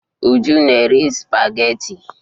Uju na-eri sụpagheti.